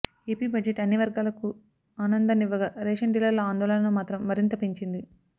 AP budget అన్ని వర్గాలకు ఆనందాన్నివ్వగా రేషన్ డీలర్ల ఆందోళనను మాత్రం మరింత పెంచింది